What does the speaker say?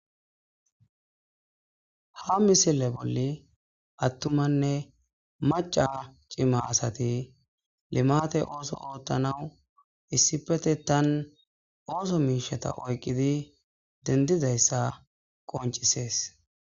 ha misile bolli attumanne maca cima asati limate ooso oottanau issipete tan ooso miishata oyqqidi dendizayssa qoncisees